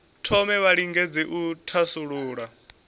thome vha lingedze u thasulula